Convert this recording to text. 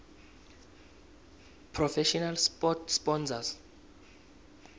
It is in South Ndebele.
professional sport sponsors